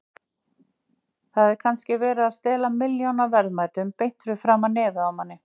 Það er kannski verið að stela milljónaverðmætum beint fyrir framan nefið á manni.